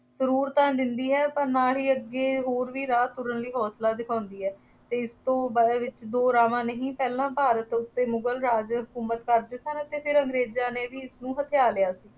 ਗਰੂਰ ਤਾਂ ਦਿੰਦੀ ਹੈ, ਪਰ ਨਾਲ ਹੀ ਅੱਗੇ ਹੋਰ ਵੀ ਰਾਹ ਤੁਰਨ ਲਈ ਹੌਂਸਲਾ ਦਿਖਾਉਂਦੀ ਹੈ ਅਤੇ ਇਸ ਤੋਂ ਬਾਅਦ ਵਿੱਚ ਦੋ ਰਾਹਾਂ ਨਹੀਂ ਪਹਿਲਾਂ ਭਾਰਤ ਉੱਤੇ ਮੁਗਲ ਰਾਜ ਹਕੂਮਤ ਕਰਦੇ ਸਨ ਅਤੇ ਫੇਰ ਅੰਗਰੇਜ਼ਾਂ ਨੇ ਵੀ ਇਸਨੂੰ ਹਥਿਆ ਲਿਆ ਸੀ